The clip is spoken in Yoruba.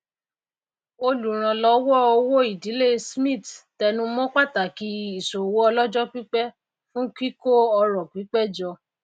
olùránlówó owó ìdílé smith tẹnumó pàtàkì ìsòwò ọlójó pípé fún kíkó ọrò pípé jọ